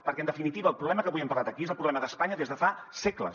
perquè en definitiva el problema que avui hem parlat aquí és el problema d’espanya des de fa segles